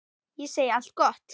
Ég segi allt gott.